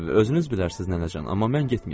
Özünüz bilərsiz nənəcan, amma mən getməyəcəm.